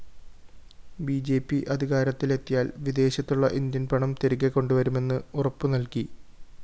B J P അധികാരത്തിലെത്തിയാല്‍ വിദേശത്തുള്ള ഇന്ത്യന്‍പണം തിരികെ കൊണ്ടുവരുമെന്ന്‌ ഉറപ്പുനല്‍കി